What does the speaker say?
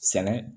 Sɛnɛ